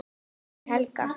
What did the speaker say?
spyr Helgi.